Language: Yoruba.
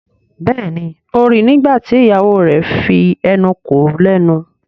Béèni o rí ní nígbàtí ìyàwó rẹ fí enú kò lénu.